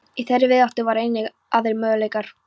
Í þeirri víðáttu voru einnig aðrir möguleikar.